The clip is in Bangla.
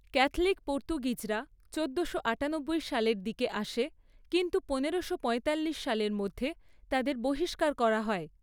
ক্যাথলিক পর্তুগিজরা চোদ্দোশো আটানব্বই সালের দিকে আসে কিন্তু পনেরোশো পঁয়তাল্লিশ সালের মধ্যে তাদের বহিষ্কার করা হয়।